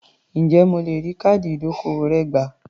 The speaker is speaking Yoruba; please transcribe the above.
Ǹjẹ́ mo lè rí káàdì ìdókòwò rẹ gbà?